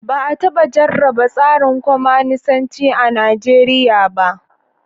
Ba a taba jarraba tsarin kwamanisanci a Najeriya ba.